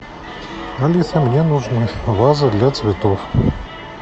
алиса мне нужна ваза для цветов